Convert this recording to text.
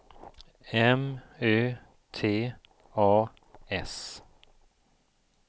M Ö T A S